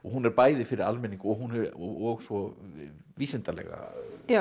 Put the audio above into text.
hún er bæði fyrir almenning og og svo vísindalega